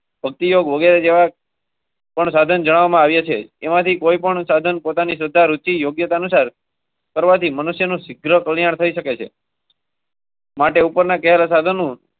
ભક્તિ યોગ્ય જવાબ. પણ સાધન જવામાં આવ્યા છે. કોઈ પણ સાધન પોતાની રુચિયોગ્યતાનુસાર. વાડી મનુષ્યનું કલ્યાણ થઈ શકે છે. માટે ઉપરના કેર સાધનો.